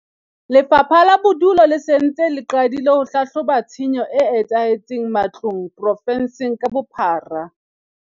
Lefapha la Bodulo le se le ntse le qadile ho hlahloba tshenyo e etsahetseng matlong provenseng ka bophara.